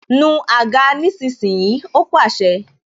Nu àga nísinsìnyí! Ó pàṣẹ